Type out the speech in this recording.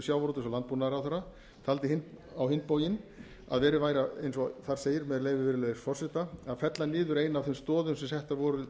og landbúnaðarráðherra taldi á hinn bóginn að verið væri eins og þar segir með leyfi viðruelgs forseta að fella niður eina af þeim stoðum sem settar voru